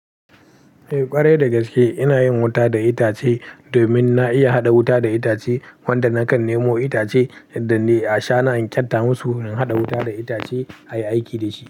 Eh ƙwarai dagaske. Ina yin wuta da itace domin na iya hada wuta da itace. Wanda nakan nemo itace in dan ni ashana in kenta musu in haɗa wuta da itace a yi aiki da shi.